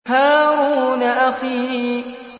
هَارُونَ أَخِي